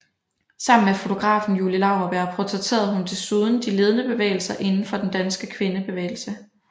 Sammen med fotografen Julie Laurberg portrætterede hun desuden de ledende personer inden for den danske kvindebevægelse